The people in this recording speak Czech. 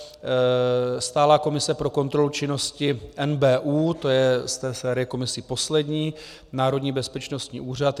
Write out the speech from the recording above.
Stálá komise pro kontrolu činnosti NBÚ, to je z té série komisí poslední, Národní bezpečnostní úřad.